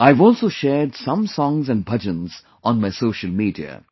I have also shared some songs and bhajans on my social media